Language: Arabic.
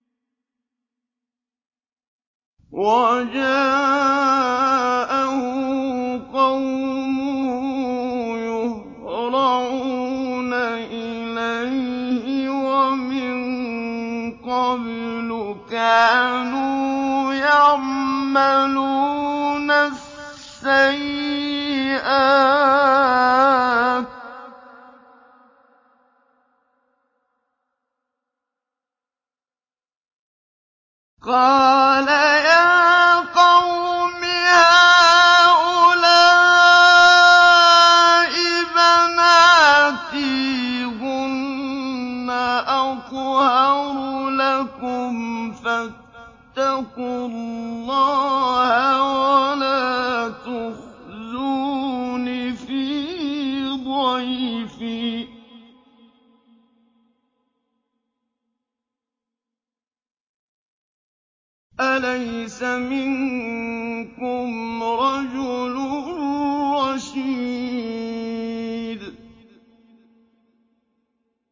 وَجَاءَهُ قَوْمُهُ يُهْرَعُونَ إِلَيْهِ وَمِن قَبْلُ كَانُوا يَعْمَلُونَ السَّيِّئَاتِ ۚ قَالَ يَا قَوْمِ هَٰؤُلَاءِ بَنَاتِي هُنَّ أَطْهَرُ لَكُمْ ۖ فَاتَّقُوا اللَّهَ وَلَا تُخْزُونِ فِي ضَيْفِي ۖ أَلَيْسَ مِنكُمْ رَجُلٌ رَّشِيدٌ